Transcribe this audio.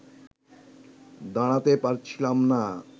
দাঁড়াতে পারছিলাম না